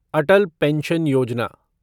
अटल pension योजना